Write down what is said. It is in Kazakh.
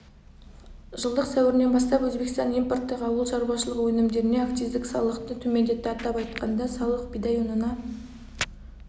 жылдың сәуірінен бастап өзбекстан импорттық ауыл шаруашылығы өнімдеріне акциздік салықты төмендетті атап айтқанда салық бидай ұнына